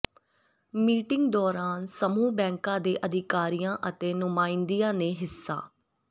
meeting ਦੌਰਾਨ ਸਮੂਹ ਬੈਂਕਾਂ ਦੇ ਅਧਿਕਾਰੀਆਂ ਅਤੇ ਨੁਮਾਇੰਦਿਆਂ ਨੇ ਹਿੱਸਾ